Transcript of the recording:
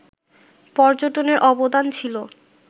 পর্যটনের অবদান ছিল